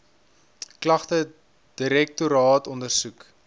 klagte direktoraat ondersoek